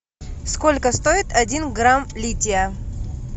сколько стоит один грамм лития